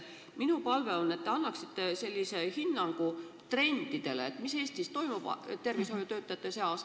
Minu palve on, et te annaksite hinnangu trendidele, mis Eesti tervishoius valitsevad.